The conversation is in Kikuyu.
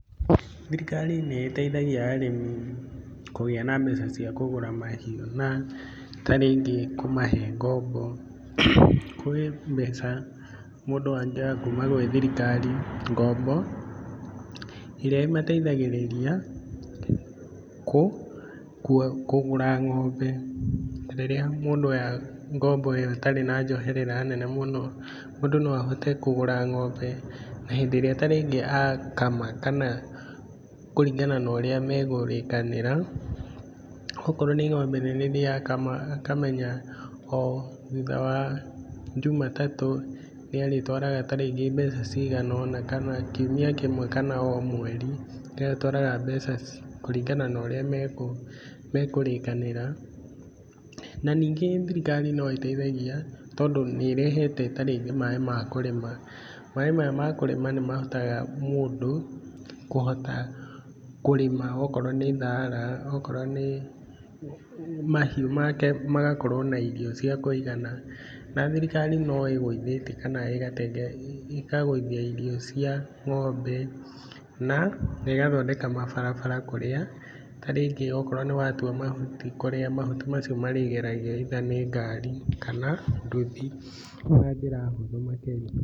Thirikari nĩ ĩteithagia arĩmi kũgĩa na mbeca cia kũgũra mahiũ na ta rĩngĩ kũmahe ngombo. Kũrĩ mbeca mũndũ angĩoya kuma gwĩ thirikari, ngombo iria imateithagĩrĩria kũgũra ng'ombe . Rĩrĩa mũndũ oya ngombo ĩo ĩtarĩ na njoherera nene mũno, mũndũ no ahote kũgũra ng'ombe, na hĩndĩ ĩrĩa ta rĩngĩ akama kana kũringana na ũrĩa me kũrĩkanĩra, okorwo nĩ ng'ombe nene rĩrĩa akama akamenya o thutha wa Njumatatũ nĩ arĩtwara ta rĩngĩ mbeca cigana ũna kana kiumia kĩmwe kana o mweri nĩ arĩtwaraga mbeca kũringana na ũrĩa mekũrĩkanĩra. Na ningĩ thirikari no ĩtethagia tondũ nĩ ĩrehete ta rĩngĩ maĩ ma kũrĩma. Maĩ maya ma kũrĩma nĩ mahotaga mũndũ kũhota kũrĩma okorwo nĩ thaara, okorwo nĩ mahiũ make magakorwo na irio cia kũigana, na thirikari no ĩgũithĩtie kana ĩkagũithia irio cia ng'ombe na ĩgathondeka mabarabara kũrĩa ta rĩngĩ okorwo nĩ watua mahutii kũrĩa mahuti macio marĩgeragio ĩitha nĩ ngari kana nduthi na njĩra hũthũ makĩria.